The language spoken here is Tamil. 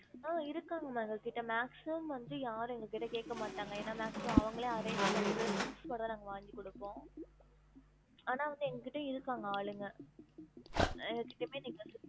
ஆஹ் இருக்காங்க ma'am எங்ககிட்ட maximum வந்து யாரும் எங்க கிட்ட கேக்க மாட்டங்க ஏனா maximum அவங்களே arrange பண்ணிட்டு வெறும் things மட்டும் தான் நாங்க வாங்கி குடுப்போம் ஆனா வந்து எங்க கிட்ட இருக்காங்க ஆளுங்க எங்க கிட்டயுமே நீங்க